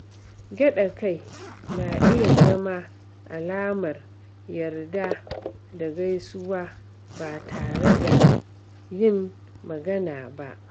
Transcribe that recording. Gyaɗa kai na iya zama alamar yarda da gaisuwa ba tare da yin magana ba.